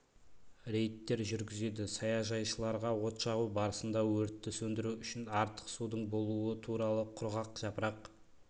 рейдтер жүргізеді саяжайшыларға от жағу барысында өртті сөндіру үшін артық судың болуы туралы құрғақ жапырақ